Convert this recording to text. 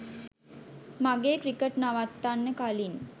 මගේ ක්‍රිකට් නවත්තන්න කලින්